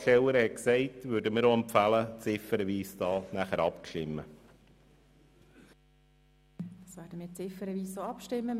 Deshalb empfehlen wir – wie von der Antragstellerin erwähnt – eine ziffernweise Abstimmung.